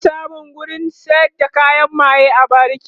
ana samun wurin sayar da kayan maye a bariki